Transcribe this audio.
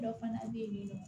Dɔ fana bɛ yen nɔ